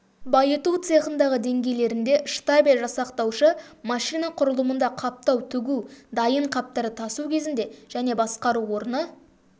байыту цехындағы деңгейлерінде штабель жасақтаушы машина құрылымында қаптау тігу дайын қаптарды тасу кезінде және басқару орны